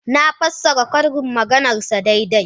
Na fassara ƙarin maganarsa daidai.